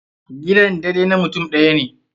Gidan daidai na mutum ɗaya ne.